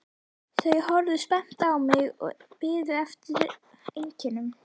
Þau horfðu spennt á mig og biðu eftir einkennunum.